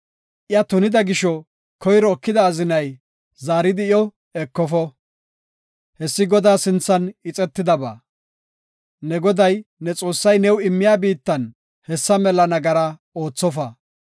iya tunida gisho, koyro ekida azinay, zaaridi iyo ekofo. Hessi Godaa sinthan ixetidaba; ne Goday, ne Xoossay ne immiya biittan hessa mela nagara oothofa.